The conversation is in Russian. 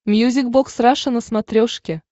мьюзик бокс раша на смотрешке